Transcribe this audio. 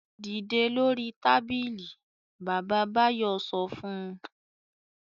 "Dìde lórí tábìlì! Bàbá Báyọ̀ sọ fún un.